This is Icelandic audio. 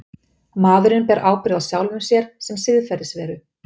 Maðurinn ber ábyrgð á sjálfum sér sem siðferðisveru.